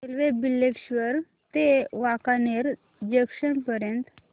railway Bileshwar ते Wankaner junction पर्यंत